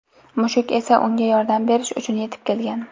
Mushuk esa unga yordam berish uchun yetib kelgan.